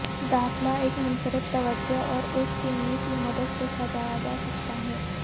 داخلہ ایک منفرد توجہ اور ایک چمنی کی مدد سے سجایا جا سکتا ہے